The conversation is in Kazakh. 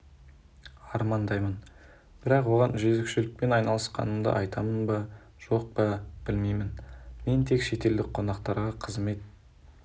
армандаймын бірақ оған жөзекшелікпен айналысқанымды айтамын ба жоқ па білмеймін мен тек шетелдік қонақтарға қызмет